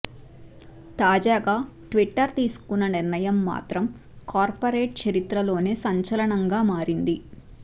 తాజాగా ట్విట్టర్ తీసుకున్న నిర్ణయం మాత్రం కార్పొరేట్ చరిత్రలోనే సంచలనంగా మారింది